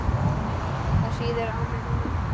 Það sýður á mér núna.